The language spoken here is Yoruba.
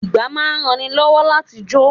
Ìgbá máa ń ran ni lọ́wọ́ láti jò.